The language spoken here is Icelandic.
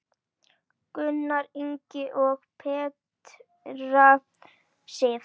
Gunnar Ingi og Petra Sif.